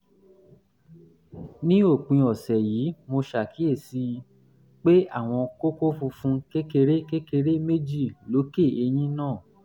ní òpin ọ̀sẹ̀ yìí mo ṣàkíyèsí um pé àwọn kókó funfun kékeré kékeré méjì lókè eyín náà